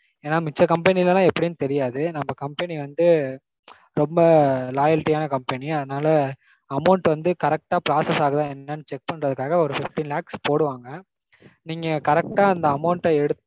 ஏன்னா மிச்ச company ல லாம் எப்படினு தெரியாது. நம்ம company வந்து ரொம்ப loyalty யான company. அதனால amount வந்து correct டா process ஆகுதா என்னனு check பண்றதுக்காக ஒரு fifteen lakhs போடுவாங்க. நீங்க correct ஆ அந்த amount எடுத்து